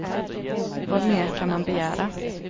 Vad mer kan man begära?